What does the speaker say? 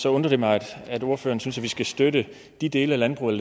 undrer det mig at ordføreren synes vi skal støtte de dele af landbruget